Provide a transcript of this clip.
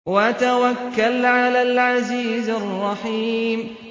وَتَوَكَّلْ عَلَى الْعَزِيزِ الرَّحِيمِ